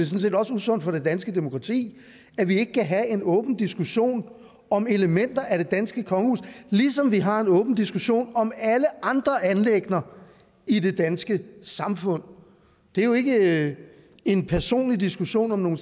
set også usundt for det danske demokrati at vi ikke kan have en åben diskussion om elementer af det danske kongehus ligesom vi har en åben diskussion om alle andre anliggender i det danske samfund det er jo ikke en personlig diskussion om nogle